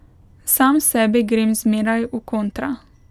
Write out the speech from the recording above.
Sam sebi grem zmeraj v kontra.